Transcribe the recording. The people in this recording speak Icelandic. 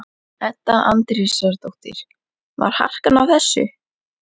Edda Andrésdóttir: Var harkan á þessu?